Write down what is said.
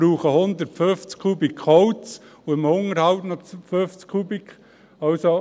Dafür brauchen sie 150 Kubikmeter Holz und im Unterhalt noch 50 Kubikmeter.